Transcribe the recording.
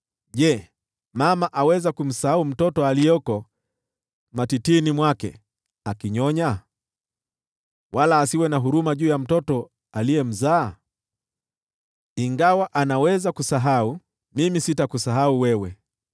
“Je, mama aweza kumsahau mtoto aliyeko matitini mwake akinyonya, wala asiwe na huruma juu ya mtoto aliyemzaa? Ingawa anaweza kusahau, mimi sitakusahau wewe!